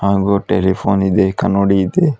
ಹಾಗು ಟೆಲಿಪೋನ್ ಇದೆ ಕನಡಿ ಇದೆ.